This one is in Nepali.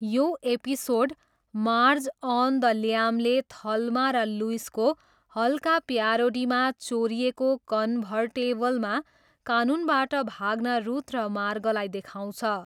यो episode 'Marge on the lam' ले थल्मा र लुइसको हल्का प्यारोडीमा चोरिएको कन्भर्टेबलमा कानुनबाट भाग्न रुथ र मार्गलाई देखाउँछ।